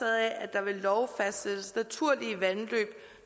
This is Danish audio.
af at der ved lov fastsættes naturlige vandløb